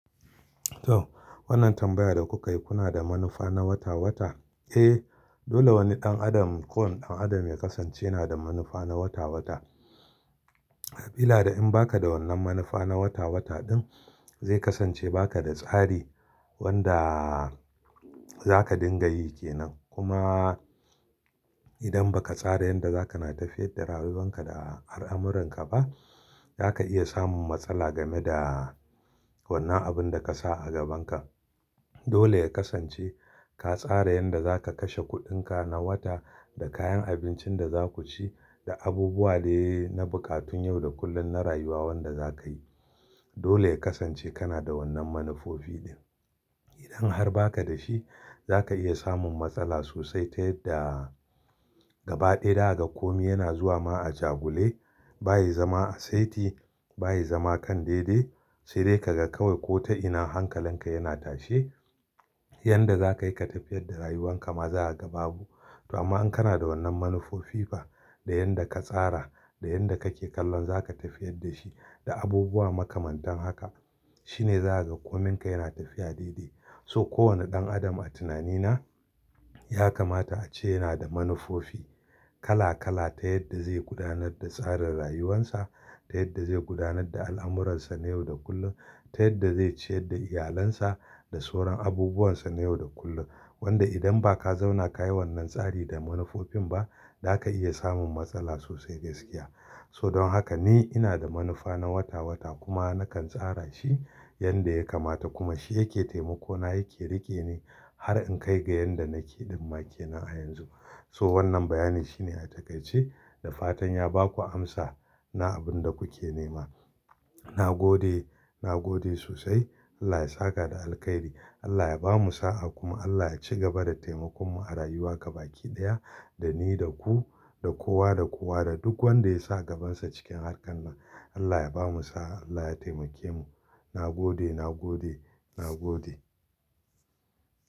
To wannan tambayar da kuka yi kuna da manufa na wata-wata? Eh dole wani ɗan adam ko wani ɗan adam ya kasance yana da manufa na wata-wata. Habila da in baka da wannan manufa na wata-wata ɗin zai kasance baka da tsari wanda zaka dinga yi ke nan. Kuma idan baka tsara yanda zaka na tafiyar da rayuwanka da al'amuranka ba zaka iya samun matsala game da wannan abunda kasa a gabanka. Dole ya kasance ka tsara yanda zaka kashe kuɗinka na wata da kayan abincin da zaku ci da abubuwa dai na buƙatun yau da kullum na rayuwa wanda zakayi. Dole ya kasance kana da wannan manufofi ɗin. Idan har baka da shi zaka iya samun matsala sosai ta yadda gaba ɗaya za ka ga komi yana zuwa ma'ajagule baya zama a saiti baya zama kan dai-dai. Sai dai ka ga kawai ko ta ina hankalanka yana tashe yanda zakayi ka tafiyar da rayuwanka ma za ka ga babu. To amma in kana da wannan manufofi da yanda ka tsara da yanda kake kallon zaka tafiyar da shi da abubuwa makamantan haka shine za ka ga kominka yana tafiya dai-dai. So kowane ɗan adam a tunanina ya kamata a ce yana da manufofi kala-kala ta yadda zai gudanar da tsarin rayuwansa ta yadda zai gudanar da al'amuransa na yau da kullum ta yadda zai ciyar da iyalansa da soron abubuwansa na yau da kullum. Wanda idan ba ka zauna ka yi wannan tsari da manufofin ba zaka iya samun matsala sosai gaskiya. So don haka ni ina da manufa na wata-wata kuma nakan tsara shi yanda ya kamata kuma shi yake taimako na yake rike ni har in kai ga yanda nake ɗumma ke nan a yanzu. So wannan bayani shine a takaice da fatan ya baku amsa na abinda kuke nema. Na gode, na gode sosai Allah ya saka da alkhairi Allah ya bamu sa a kuma Allah ya ci gaba da taimakon mu a rayuwa gaba ki ɗaya da ni da ku da kowa da kowa da duk wanda ya sa gabansa cikin harkan nan Allah ya bamu saha Allah ya taimake mu. Na gode, na gode, na gode.